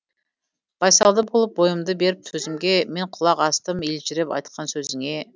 байсалды болып бойымды беріп төзімге мен құлақ астым елжіреп айтқан сөзіңе